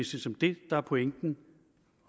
set det der er pointen